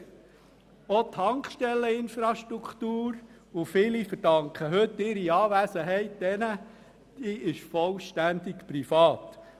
Auch die Tankstelleninfrastruktur – und viele von Ihnen verdanken dieser heute ihre Anwesenheit – ist vollständig privat.